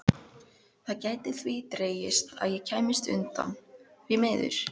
Það gæti því dregist að ég kæmist utan, því miður.